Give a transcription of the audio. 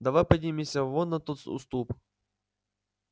давай поднимемся вон на тот уступ